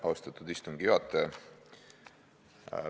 Austatud istungi juhataja!